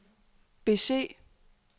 bese